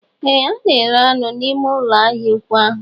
Ee a na-ere anụ n'ime ụlọ ahịa ụkwụ ahụ